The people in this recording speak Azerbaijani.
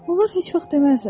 Onlar heç vaxt deməzlər: